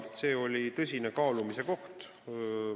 See oli tõsine kaalumise koht.